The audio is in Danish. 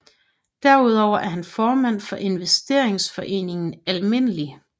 Derudover er han formand for investeringsforeningen Alm